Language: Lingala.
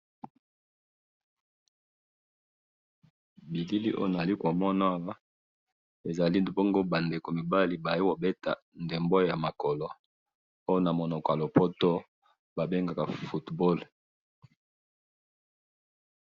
bilili oyo na zali komona awa eza bongo ba ndeko mibala baye kobeta ndembo ya makolo oyo na monoko ya lopoto ba bengaka football